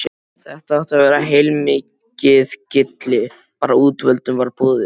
Þetta átti að vera heilmikið gilli, bara útvöldum var boðið.